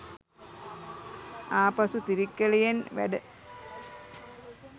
ආපසු තිරික්කලයෙන් වැඩ